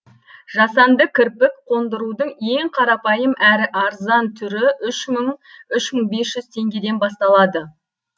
жасанды кірпік қондырудың ең қарапайым әрі арзан түрі үш мың үш мың бес жүз теңгеден басталады